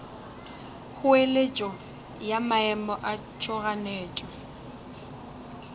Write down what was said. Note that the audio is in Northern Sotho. kgoeletšo ya maemo a tšhoganetšo